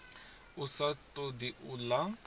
a sa todi u ḽa